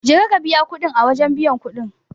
Je ka ka biya kudin a wajen biyan kudi.